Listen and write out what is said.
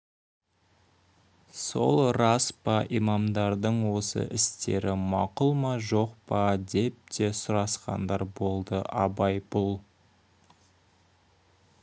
сол рас па имамдардың осы істері мақұл ма жоқ па деп те сұрасқандар болды абай бұл